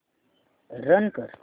run कर